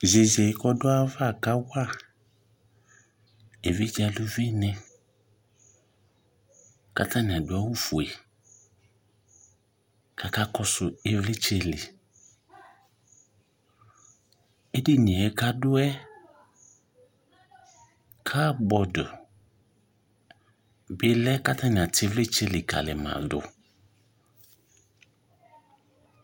zeze kɔdu ava kawa evidze aluvi ni k'atani adu awu fue k'aka kɔsu ivlitsɛ li edini yɛ kadu yɛ kabɔd bi lɛ k'atani atɛ ivlitsɛ likali ma do